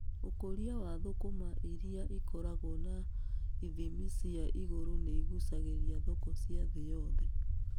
Ũkũria wa thũkũma irĩa ikoragwo na ithimi cia igũrũ nĩ igucagĩrĩria thoko cia thĩ yothe.